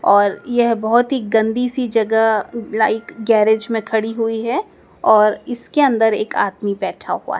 और यह बहोत ही गंदी सी जगह लाइक गैरेज में खड़ी हुई हैं और इसके अंदर एक आदमी बैठा हुआ है।